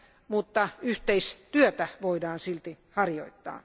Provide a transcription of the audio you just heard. mutta yhteistyötä voidaan silti harjoittaa.